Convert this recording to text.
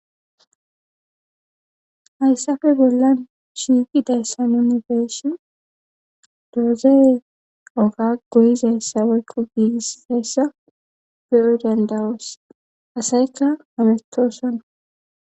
Hayissappe bolani shiqidayisa nu beishin dozoreyi oga goyizayisa woyikko gigisizayisa qodani dosi asayikka masitawoshani